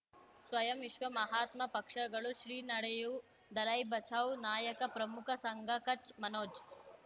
ಸ್ವಯಂ ವಿಶ್ವ ಮಹಾತ್ಮ ಪಕ್ಷಗಳು ಶ್ರೀ ನಡೆಯೂ ದಲೈ ಬಚೌ ನಾಯಕ ಪ್ರಮುಖ ಸಂಘ ಕಚ್ ಮನೋಜ್